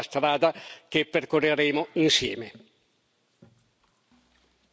Auspico e confido che questa sarà la strada che percorreremo insieme.